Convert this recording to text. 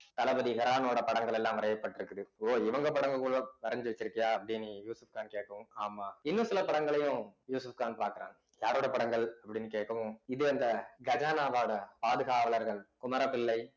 தளபதி ஹெரானோட படங்களெல்லாம் வரையப்பட்டிருக்குது ஓ இவங்க படங்கள் கூட வரைஞ்சு வச்சிருக்கியா அப்படின்னு யூசப்கான் கேட்கவும் ஆமா இன்னும் சில படங்களையும் யூசப்கான் பாக்குறான் யாரோட படங்கள் அப்டினு கேட்கவும் இது அந்த கஜானாவோட பாதுகாவலர்கள் குமரப்பிள்ளை